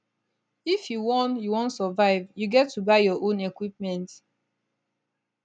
if you wan you wan survive you get to buy your own equipment